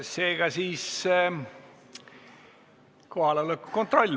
Seega teeme kohaloleku kontrolli.